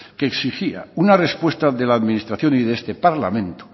que exigía una respuesta de la administración y de este parlamento